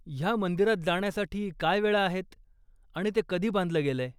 ह्या मंदिरात जाण्यासाठी काय वेळा आहेत आणि ते कधी बांधलं गेलय ?